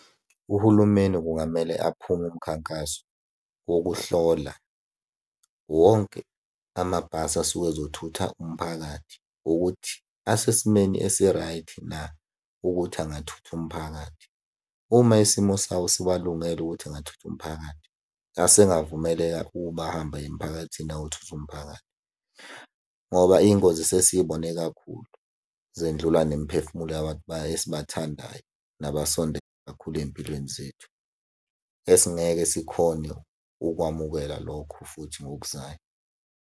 Uhulumeni kungamele aphume umkhankaso wokuhlola wonke amabhasi asuke ezothutha umphakathi ukuthi asesimeni esi-right na ukuthi angathutha umphakathi. Uma isimo sawo siwalungele ukuthi engathutha umphakathi, asengavumeleka ukuba ahambe aye emphakathini ayothutha umphakathi, ngoba iy'ngozi sesiy'bone kakhulu. Zendlula nemiphefumulo yabantu esibathandayo, nabasondele kakhulu ey'mpilweni zethu. Esingeke sikhone ukwamukela lokho futhi ngokuzayo.